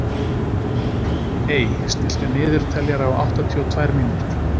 Ey, stilltu niðurteljara á áttatíu og tvær mínútur.